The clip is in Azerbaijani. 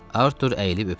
Artur əyilib öpdü.